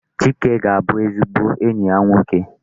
Chike ga-abụ ezigbo enyi ya nwoke.